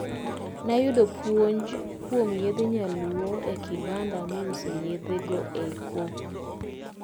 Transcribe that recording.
Nayudo puonj kuom yedhe nyaluo e kibanda miuse yedhego eko.